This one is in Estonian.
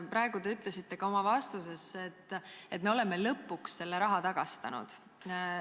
Praegu te ütlesite ka oma vastuses, et me oleme lõpuks selle raha tagastanud.